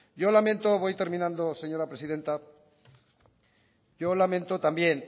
yo lamento voy terminando señora presidenta yo lamento también